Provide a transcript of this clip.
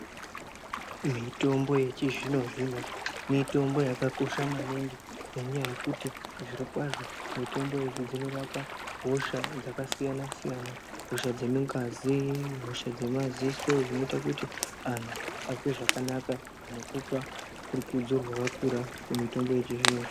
Mitombo yechizvino zvino mitombo yakakosha maningi ngenyaya yekuti zviro kwazvo mitombo idzi dzinorapa hosha dzakasiyana siyana hosha dzemungazi hosha dzemaziso zvinoita kuti antu azwe zvakanaka nekupa rukudzo rwakakura kumitombo yechizvino zvino.